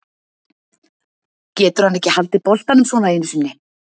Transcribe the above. Getur hann ekki haldið boltanum svona einu sinni?